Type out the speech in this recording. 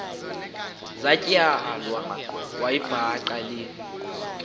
zatywala wayibhaqa le